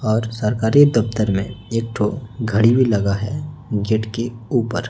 और सरकारी दफ्तर में एक ठो घड़ी भी लगा है गेट के ऊपर।